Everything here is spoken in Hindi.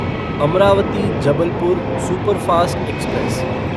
Amravati Jabalpur superfast express